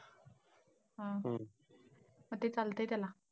हा हा. मग ते चालतंय त्याला?